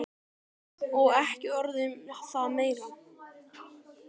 Og ekki orð um það meira!